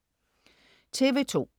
TV2: